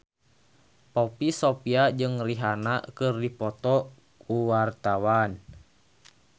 Poppy Sovia jeung Rihanna keur dipoto ku wartawan